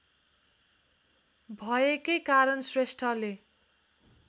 भएकै कारण श्रेष्ठले